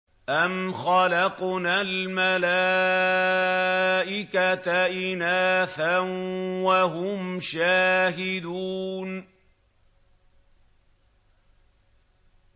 أَمْ خَلَقْنَا الْمَلَائِكَةَ إِنَاثًا وَهُمْ شَاهِدُونَ